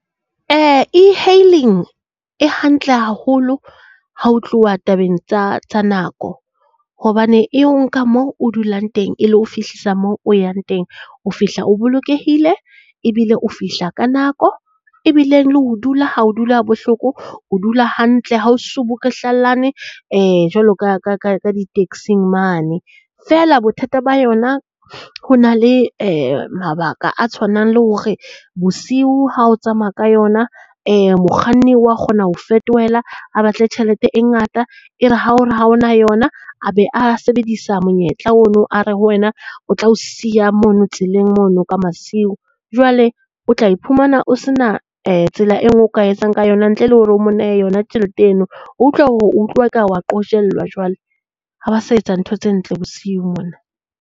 E-hailing e hantle haholo ha ho tluwa tabeng tsa tsa nako hobane e o nka mo o dulang teng e lo o fihlisa mo o yang teng. O fihla o bolokehile, ebile o fihla ka nako, ebileng le ho dula ha o dule ha bohloko. O dula hantle ha o sobukwehlalanwe jwalo ka di-taxi-ng mane. Feela bothata ba yona, ho na le mabaka a tshwanang le hore bosiu ha o tsamaya ka yona mokganni wa kgona ho o fetohela a batle tjhelete e ngata. E re ha o re ha o na yona a be a sebedisa monyetla ono are ho wena. O tla o siya mono tseleng mono ka masiu. Jwale o tla iphumana o sena tsela e nngwe o ka etsang ka yona ntle le hore o mo nehe yona tjhelete eno. O utlwa hore o utlwa e ka wa qojellwa jwale. Ha ba sa etsa ntho tse ntle bosiu mona.